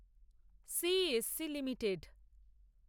CESC limited